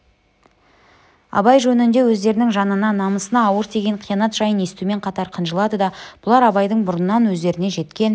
абай жөнінде өздерінің жанына намысына ауыр тиген қиянат жайын естумен қатар қынжылады да бұлар абайдың бұрыннан өздеріне жеткен